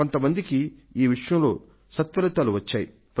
కొంత మందికి ఈ విషయంలో సత్ఫలితాలు సిద్ధించాయి